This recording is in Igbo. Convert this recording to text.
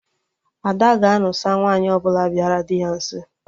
Ada ga-anụsa nwaanyị ọbụla bịara dị ya nso